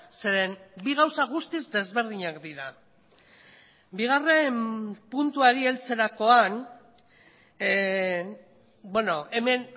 zeren bi gauza guztiz desberdinak dira bigarren puntuari heltzerakoan beno hemen